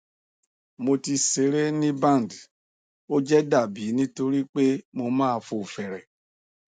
mo ti sere ni band o je dabi nitori pe mo ma fo fere